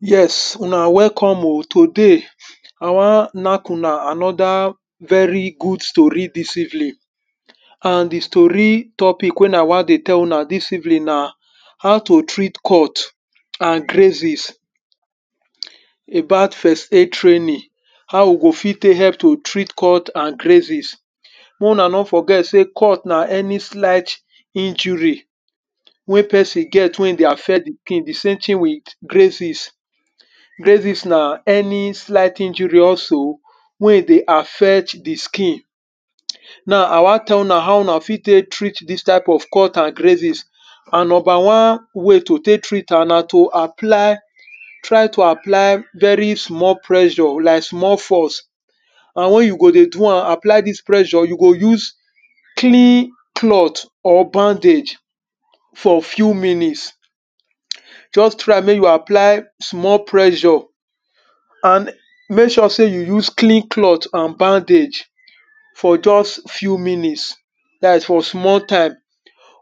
yes una welcome oh today, awan nack una anoda very good stori dis evening. and di stori topic wen i wan dey tell una dis evening na aw to treat cut and greses abat first aid traning, how we go fit tek help to treat cut and greases. mek una no forget sey cut na any shlight injury wen e for tek dey affect di sams etin with greases greases na any shilght injusry wey e dey affecth di skin. now i wan tel una how how una fit tek treat dis cut and gruises and number wan tin na to apply try to apply very small pressure like small force and wen you go dey do am apply dis prssure, you go use clean cloth or bandage for few minutes. just try mek you apply small presure and mek sure sey you use clean cloth and bandage for just few minutes dat is for small time and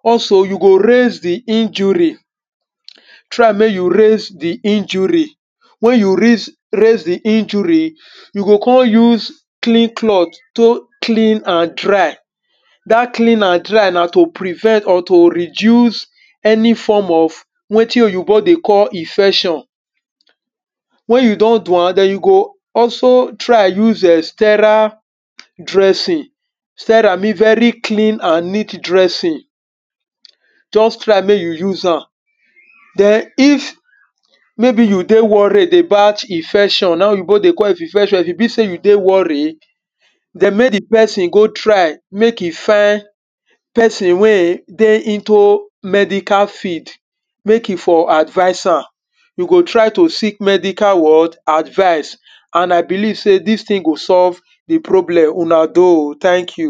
also you go rainse di injury try mek you rainse di injury, wen yo rinse di injury, you go kon use clean cloth to clean and dry. da clean and dry na to prevent or to reduce any form of wetin oyinbo dey call infecsion. wen you don do am den you go also try use en strera dressing stera mean eh very clean an neat dressing just try mek you use am den if meybe you dey worried about ifection na hin oyibo dey call if you dey worried den mek di pesin go try mek e find pesin wen e dey ito medical field mek e for advice am. you go try to seek medical what advice and i believe sey dis tin go solve di problem. una doh o thank you.